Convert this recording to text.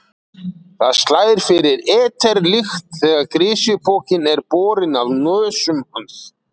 Það slær fyrir eter-lykt þegar grisjupokinn er borinn að nösum hans.